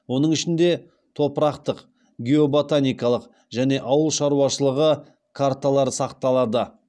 оның ішінде топырақтық геоботаникалық және ауыл шаруашылығы карталары сақталады